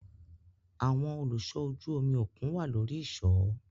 Awọn oluṣọ ojú omi okun wa lori iṣọ